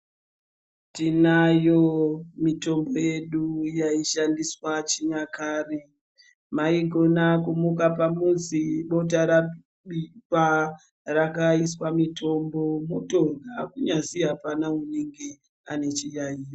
Tinayo mitombo yedu yaishandiswa chinyakare, maigona kumuka pamuzi bota rabikwa rakaiswa mitombo motorya kunyazwi apana une chiyaiyo.